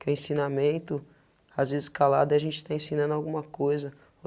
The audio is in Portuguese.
Que o ensinamento, às vezes calada, a gente está ensinando alguma coisa.